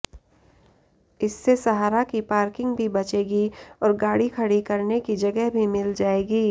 इससे सहारा की पार्किंग भी बचेगी और गाड़ी खड़ी करने की जगह भी मिल जाएगी